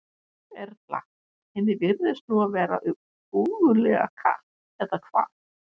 Erla: Henni virðist nú vera ógurlega kalt, eða hvað?